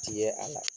Ti ye a la